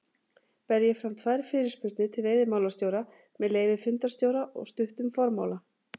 bar ég fram tvær fyrirspurnir til veiðimálastjóra með leyfi fundarstjóra og stuttum formála